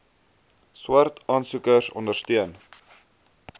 swart aansoekers ondersteun